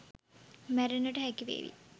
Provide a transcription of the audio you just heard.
මැරෙන්නට හැකි වේවි.